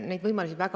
Jürgen Ligi, palun!